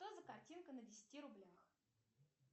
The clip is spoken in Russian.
что за картинка на десяти рублях